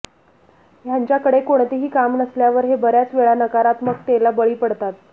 ह्यांच्या कडे कोणतेही काम नसल्यावर हे बऱ्याच वेळा नकारात्मकतेला बळी पडतात